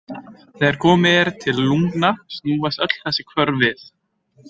Þegar komið er til lungna snúast öll þessi hvörf við.